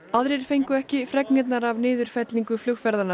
aðrir fengu ekki fregnirnar af niðurfellingu